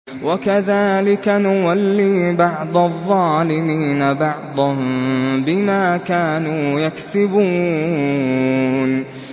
وَكَذَٰلِكَ نُوَلِّي بَعْضَ الظَّالِمِينَ بَعْضًا بِمَا كَانُوا يَكْسِبُونَ